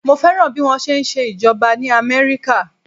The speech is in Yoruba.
Mo fẹ́ràn bí wọ́n ṣe ń ṣe ìjọba ní Amẹ́ríkà.